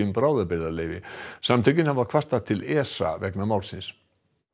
bráðabirgðaleyfi samtökin hafa kvartað til ESA vegna málsins